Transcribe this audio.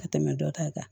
Ka tɛmɛ dɔ ta kan